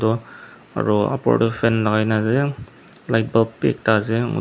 Ro aro upper doh fan lagaina ase light bulb bhi ekta ase mu--